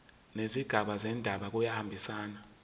nezigaba zendaba kuyahambisana